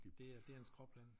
Det er det er en skråplan